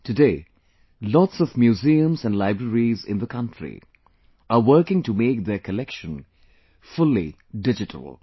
Today, lots of museums and libraries in the country are working to make their collection fully digital